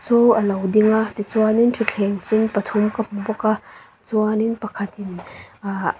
chu a lo ding a tichuan in thuthleng sen pathum ka hmu bawk a chuan in pakhat in ahh--